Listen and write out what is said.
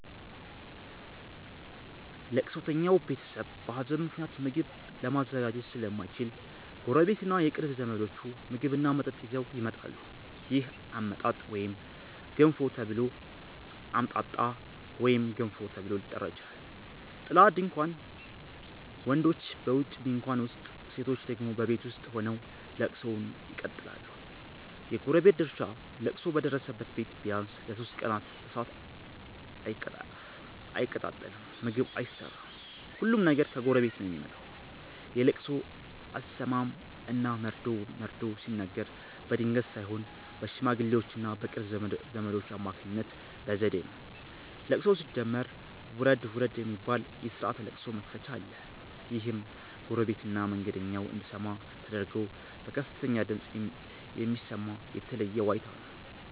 ለቅሶተኛው ቤተሰብ በሀዘን ምክንያት ምግብ ለማዘጋጀት ስለማይችል፣ ጎረቤትና የቅርብ ዘመዶች ምግብና መጠጥ ይዘው ይመጣሉ። ይህ "አምጣጣ" ወይም "ገንፎ" ተብሎ ሊጠራ ይችላል። ጥላ (ድንኳን): ወንዶች በውጪ ድንኳን ውስጥ፣ ሴቶች ደግሞ በቤት ውስጥ ሆነው ለቅሶውን ይቀጥላሉ። የጎረቤት ድርሻ: ለቅሶ በደረሰበት ቤት ቢያንስ ለሦስት ቀናት እሳት አይቀጣጠልም (ምግብ አይሰራም)፤ ሁሉም ነገር ከጎረቤት ነው የሚመጣው። የለቅሶ አሰማም እና መርዶ መርዶ ሲነገር በድንገት ሳይሆን በሽማግሌዎችና በቅርብ ዘመዶች አማካኝነት በዘዴ ነው። ለቅሶው ሲጀመር "ውረድ ውረድ" የሚባል የስርዓተ ለቅሶ መክፈቻ አለ። ይህም ጎረቤትና መንገደኛው እንዲሰማ ተደርጎ በከፍተኛ ድምፅ የሚሰማ የተለየ ዋይታ ነው።